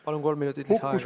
Palun, kolm minutit lisaaega!